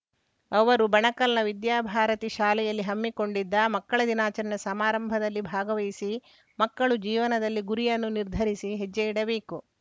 ಅವರು ಬಣಕಲ್‌ನ ವಿದ್ಯಾಭಾರತಿ ಶಾಲೆಯಲ್ಲಿ ಹಮ್ಮಿಕೊಂಡಿದ್ದ ಮಕ್ಕಳ ದಿನಾಚೆಣೆ ಸಮಾರಂಭದಲ್ಲಿ ಭಾಗವಹಿಸಿ ಮಕ್ಕಳು ಜೀವನದಲ್ಲಿ ಗುರಿಯನ್ನು ನಿರ್ಧರಿಸಿ ಹೆಜ್ಜೆಯಿಡಬೇಕು